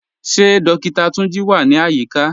Ṣe Dókìtà Túnjí wà ní ayíkà?